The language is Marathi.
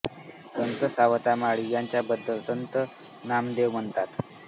संत सावता माळी यांच्या बद्दल संत नामदेव म्हणतात